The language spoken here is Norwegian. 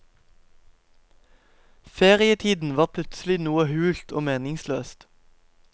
Ferietiden var plutselig noe hult og meningsløst.